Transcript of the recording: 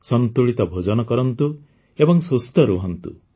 ସନ୍ତୁଳିତ ଭୋଜନ କରନ୍ତୁ ଏବଂ ସୁସ୍ଥ ରହନ୍ତୁ